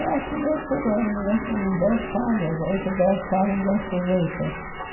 E assim eu fui ganhando acho que dez casas, oito, dez casas desse jeito.